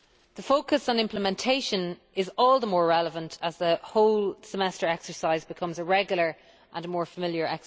The focus on implementation is all the more relevant as the whole Semester exercise becomes regular and more familiar.